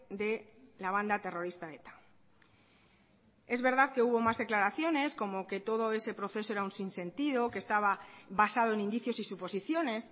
de la banda terrorista eta es verdad que hubo más declaraciones como que todo ese proceso era un sin sentido que estaba basado en indicios y suposiciones